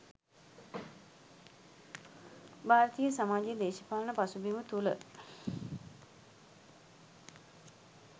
භාරතීය සමාජයේ දේශපාලන පසුබිම තුළ